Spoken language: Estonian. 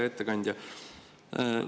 Hea ettekandja!